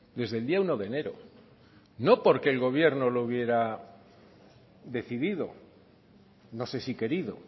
desde el día uno de enero no porque el gobierno lo hubiera decidido no sé si querido